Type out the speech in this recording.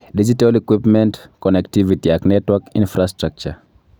Digital equipment, connectivity ak network infrastructure